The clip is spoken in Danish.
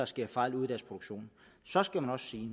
sker fejl ude i deres produktion så skal man også sige